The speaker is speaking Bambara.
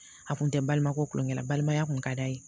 A kun tɛ balima ko kulonkɛ la balimaya kun ka d'a ye